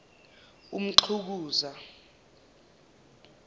umxukuza